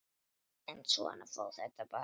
En svona fór þetta bara.